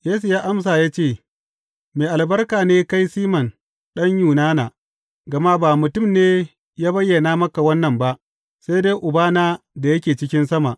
Yesu ya amsa ya ce, Mai albarka ne kai Siman ɗan Yunana, gama ba mutum ne ya bayyana maka wannan ba, sai dai Ubana da yake cikin sama.